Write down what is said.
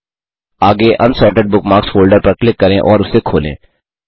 आगे unsorted bookmarks folder पर click करें और उसे खोलें